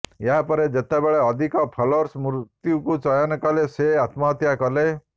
ଏହାପରେ ଯେତେବେଳେ ଅଧିକ ଫଲୋଅର୍ସ ମୃତ୍ୟୁକୁ ଚୟନ କଲେ ସେ ଆତ୍ମହତ୍ୟା କଲେ